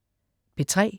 P3: